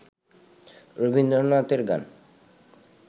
রবীন্দ্রনাথের গান